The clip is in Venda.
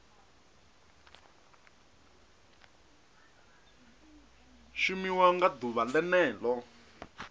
shumiwa nga ḓuvha o ḽeneo